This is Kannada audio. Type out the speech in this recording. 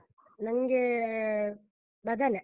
ನಂಗೇ ಬದನೆ.